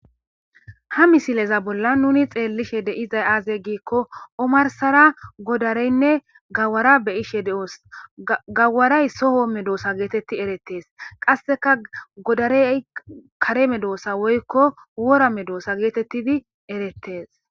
Ha misilezan bollan nun xelishe diza azegiko omarisar gawaranee godara be'idide'os gawaray soo medosa geteti eretes godarey kare medosa woy wora medosa geteti eretes